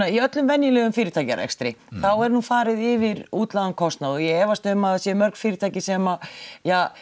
í öllum venjulegum fyrirtækjarekstri þá er nú farið yfir útlagðan kostnað og ég efast um að það séu mörg fyrirtæki sem